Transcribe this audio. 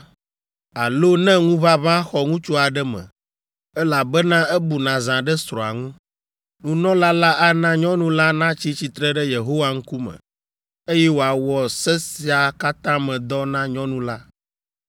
alo ne ŋuʋaʋã xɔ ŋutsu aɖe me, elabena ebu nazã ɖe srɔ̃a ŋu. Nunɔla la ana nyɔnu la natsi tsitre ɖe Yehowa ŋkume, eye wòawɔ se sia katã me dɔ na nyɔnu la.